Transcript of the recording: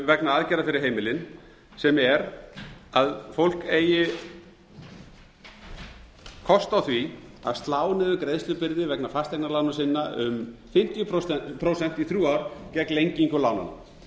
vegna aðgerða fyrri heimilin sem er að fólk eigi kost á því að slá niður greiðslubyrði vegna fasteignalána sinna um fimmtíu prósent í þrjú ár gegn lengingu